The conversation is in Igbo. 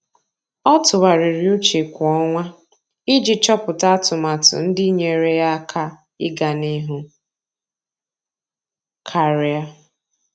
Ọ́ tụ́gharị́rị́ úchè kwa ọnwa iji chọ́pụ́tá atụmatụ ndị nyéeré yá áká iganịhụ karịa.